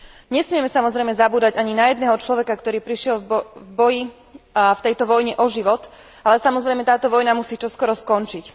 Nesmieme samozrejme zabúdať ani na jedného človeka, ktorý prišiel v boji v tejto vojne o život, ale samozrejme táto vojna musí čoskoro skončiť.